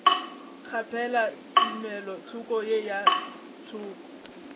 kgaphela tumelothoko ye ka thoko